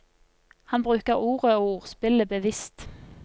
Han bruker ordet og ordspillet bevisst.